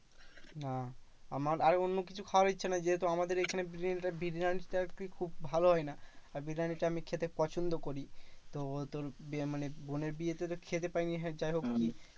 না আমার আর অন্য কিছু খাওয়ার ইচ্ছে নেই যেহেতু আমাদের এইখানে বিরিয়ানিটা কি খুব ভালো হয় না। আর বিরিয়ানিটা আমি খেতে পছন্দ করি। তো তোর বিয়ে মানে বোনের বিয়ে তে তো খেতে পাইনি তো হ্যাঁ যাইহোক